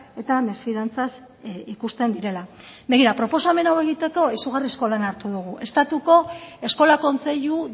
eta mesfidantzaz ikusten direla begira proposamen hau egiteko izugarrizko lana hartu dugu estatuko eskola kontseilu